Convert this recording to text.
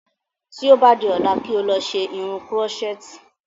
Tí o bá di ọ́la kí o lọ ṣe irun kírọ́sẹ̀tì